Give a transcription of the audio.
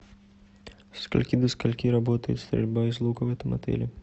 со скольки до скольки работает стрельба из лука в этом отеле